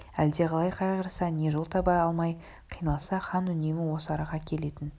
әлдеқалай қайғырса не жол таба алмай қиналса хан үнемі осы араға келетін